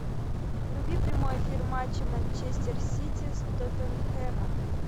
вруби прямой эфир матча манчестер сити с тоттенхэмом